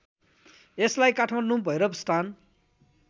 यसलाई काठमाडौँ भैरवस्थान